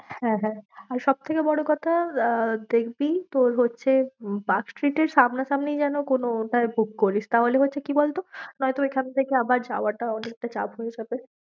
হ্যাঁ, হ্যাঁ আর সব থেকে বড়ো কথা আহ দেখবি তোর হচ্ছে, পার্কস্ট্রীটের সামনা সামনি যেন কোনো ওটায় book করিস, তাহলে হচ্ছে কি বলতো? নয়তো এখান থেকে আবার যাওয়াটা অনেকটা চাপ হয়ে যাবে।